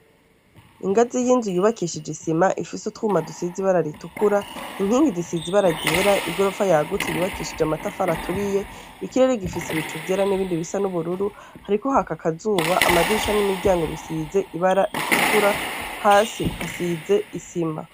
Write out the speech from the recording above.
Ingazi y'inzu yubakishije isima, ifise utwuma dusize ibara ritukura, inkingi zisize ibara ryera, igorofa yagutse yubakishije amatafari aturiye, ikirere gifise ibicu vyera n’ibindi bisa n'ubururu. Hariko haka akazuba ,amadirisha n'imiryango bisize ibara ritukura, hasi hasize isima.